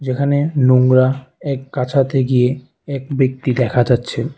যেখানে নোংরা এক কাছাতে গিয়ে এক ব্যক্তি দেখা যাচ্ছে।